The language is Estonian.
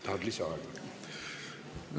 Tahad lisaaega või?